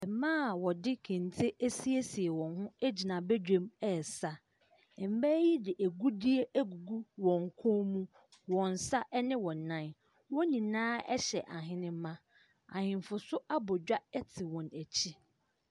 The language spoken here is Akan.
Mmaa a wɔde kente asiesie wɔn ho gyina badwam resa. Mmaa yi de agudeɛ agugu wɔn kɔn mu, wɔn nsa ne wɔn nan. Wɔn nyinaa hyɛ ahenemma. Ahemfo nso abɔ dwa te wɔn akyi.